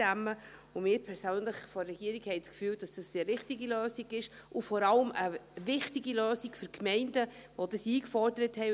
Wir von der Regierung haben das Gefühl, dies sei die richtige Lösung, und vor allem eine richtige Lösung für die Gemeinden, die dies eingefordert haben.